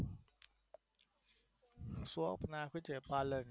ચોક નાખશું પાર્લર